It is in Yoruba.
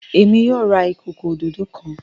Èmi yóò rà ìkọkọ òdodo kán.